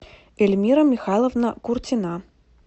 эльмира михайловна куртина